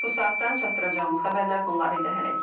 Bu saatdan çatdıracağımız xəbərlər bunlar idi hələlik.